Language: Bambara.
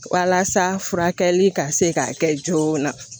Walasa furakɛli ka se k'a kɛ joona